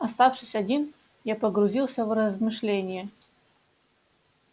оставшись один я погрузился в размышления